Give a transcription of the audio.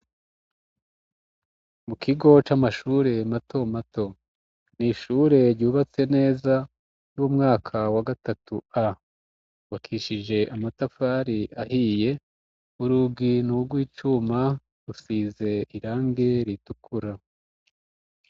Mu kigo c'amashure mato mato ni ishure ryubatse neza y'umwaka wa gatatu A ryubakishije amatafari ahiye urugi nurw icuma rufise irangi ritukura.